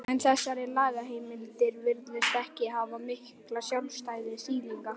en þessar lagaheimildir virðast ekki hafa mikla sjálfstæða þýðingu.